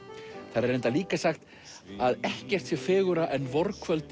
þar er reyndar líka sagt að ekkert sé fegurra en